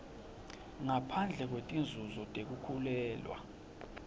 ngaphandle kwetinzunzo tekukhulelwa